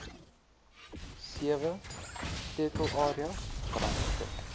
sewe sleutelareas gerangskik